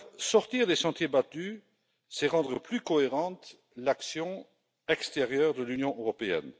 Sortir des sentiers battus, c'est rendre plus cohérente l'action extérieure de l'Union européenne.